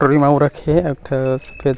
टोकरी म आऊ रखे हे एक ठो--